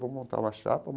Vamos montar uma chapa.